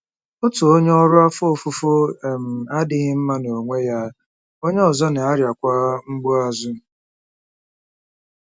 Otu onye ọrụ afọ ofufo um adịghị mma n'onwe ya; onye ọzọ na-arịakwa mgbu azụ.